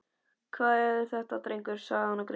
Hvað er þetta drengur? sagði hann og greip